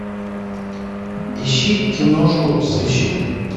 ищи киношку сыщик